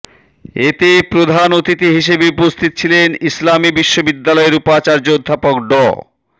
এতে প্রধান অতিথি হিসেবে উপস্থিত ছিলেন ইসলামী বিশ্ববিদ্যালয়ের উপাচার্য অধ্যাপক ড